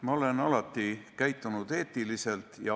Ma olen alati käitunud eetiliselt.